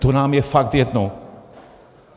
To je nám fakt jedno.